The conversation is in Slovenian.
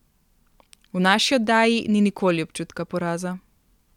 V naši oddaji ni nikoli občutka poraza.